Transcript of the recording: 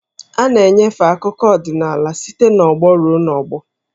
A na-enyefe akụkọ ọdịnaala site n'ọgbọ ruo n'ọgbọ.